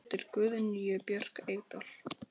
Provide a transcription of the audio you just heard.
eftir Guðnýju Björk Eydal